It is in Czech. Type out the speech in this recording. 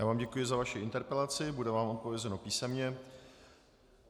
Já vám děkuji za vaši interpelaci, bude vám odpovězeno písemně.